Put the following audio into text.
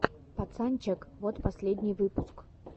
пацанчег вот последний выпуск